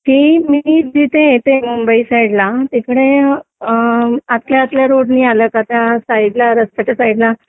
ती मी जिथे येते मुंबईत च्या साईडला तिथे अ... आतल्या रोडनी आलं जातं त्या साईडला रस्त्याच्या साईडला